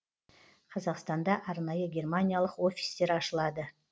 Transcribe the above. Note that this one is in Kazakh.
қазақстанда арнайы германиялық офистер ашылады